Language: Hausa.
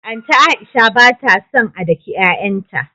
Anti Aisha batason a daki y'ay'an ta